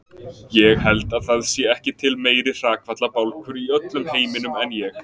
Ég held að það sé ekki til meiri hrakfallabálkur í öllum heiminum en ég.